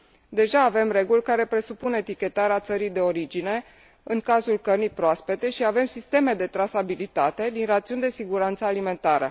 Deja avem reguli care presupun etichetarea țării de origine în cazul cărnii proaspete și avem sisteme de trasabilitate din rațiuni de siguranță alimentară.